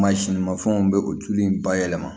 Mansin mafɛnw bɛ o tulu in bayɛlɛma